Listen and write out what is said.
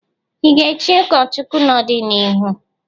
Ị ga-echị ụkọchukwu n'ọdịnihu?